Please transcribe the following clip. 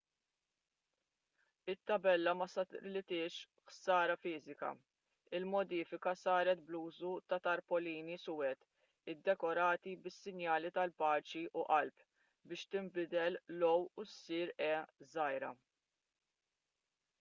it-tabella ma saritilhiex ħsara fiżika; il-modifika saret bl-użu ta' tarpolini suwed iddekorati bis-sinjali tal-paċi u qalb biex tinbidel l-"o u issir e żgħira